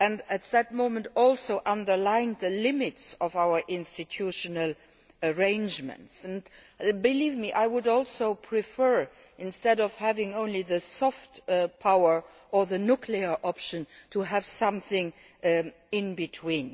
At the same time he also underlined the limits of our institutional arrangements. Believe me, I would also prefer, instead of having only soft power or the nuclear option, to have something in between.